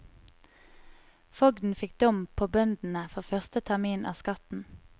Fogden fikk dom på bøndene for første termin av skatten.